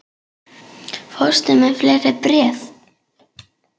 Fórstu með fleiri bréf?